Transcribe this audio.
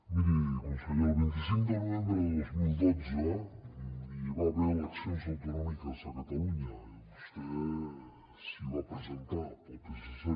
miri conseller el vint cinc de novembre de dos mil dotze hi va haver eleccions autonòmiques a catalunya i vostè s’hi va presentar pel psc